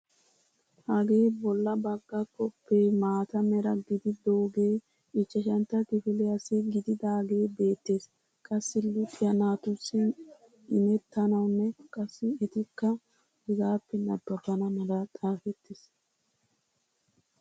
Hagee bolla bagga koppee maata mera gididogee ichchashantto kifiliyaassi giigidagee beettees. qassi luxiyaa naatussi imettanawunne qassi etikka hegaappe nababana mala xaafettiis.